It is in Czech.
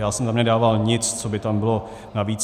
Já jsem tam nedával nic, co by tam bylo navíc.